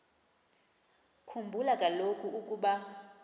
khumbula kaloku ukuba